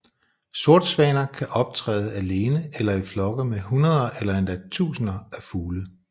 Sortsvaner kan optræde alene eller i flokke med hundreder eller endda tusinder af fugle